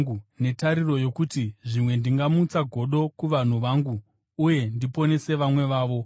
netariro yokuti zvimwe ndingamutsa godo kuvanhu vangu uye ndiponese vamwe vavo.